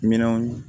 Minanw